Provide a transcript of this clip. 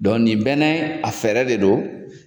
Dɔ nin bɛɛ nɛ a fɛɛrɛ de do.